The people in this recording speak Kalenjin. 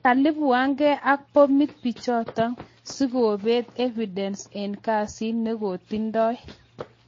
Kalipuanke ak pomit bichotok sikobet evidence Ang kesit nekotindoi